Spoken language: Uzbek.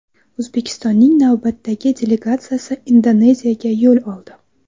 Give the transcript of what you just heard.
O‘zbekistonning navbatdagi delegatsiyasi Indoneziyaga yo‘l oldi .